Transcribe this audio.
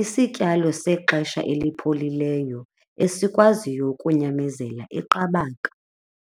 isityalo sexesha elipholileyo esikwaziyo kunyamezela iqabaka.